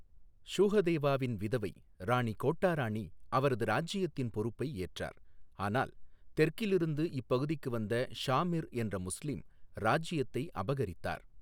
ஷூஹதேவாவின் விதவை, ராணி கோட்டா ராணி அவரது இராஜியத்தின் பொருப்பை ஏற்றார், ஆனால் தெற்கிலிருந்து இப்பகுதிக்கு வந்த ஷா மிர் என்ற முஸ்லீம் இராஜியத்தை அபகரித்தார்.